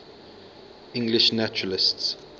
english naturalists